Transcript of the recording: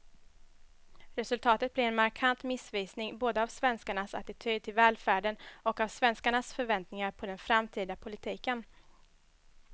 Resultatet blir en markant missvisning både av svenskarnas attityd till välfärden och av svenskarnas förväntningar på den framtida politiken.